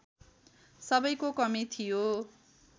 सबैको कमी थियो